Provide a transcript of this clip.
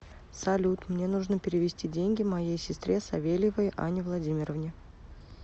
салют мне нужно перевести деньги моей сестре савельевой анне владимировне